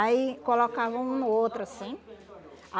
Aí colocava um no outro, assim.